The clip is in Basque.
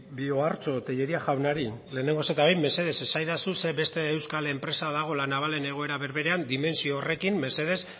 bi ohartxo tellería jaunari lehenengoz eta behin mesedez esaidazu ze beste euskal enpresa dago la navalen egoera berberean dimentsio horrekin mesedez